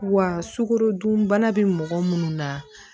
Wa sukarodunbana bɛ mɔgɔ minnu na